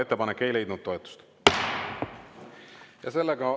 Ettepanek ei leidnud toetust.